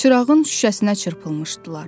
Çırağın şüşəsinə çırpılmışdılar.